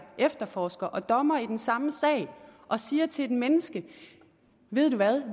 efterforsker og dommer i den samme sag og siger til et menneske ved du hvad